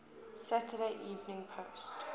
saturday evening post